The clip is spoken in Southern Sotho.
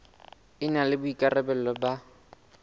e na le boikarabelo ba